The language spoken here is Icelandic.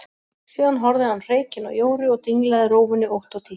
Síðan horfði hann hreykinn á Jóru og dinglaði rófunni ótt og títt.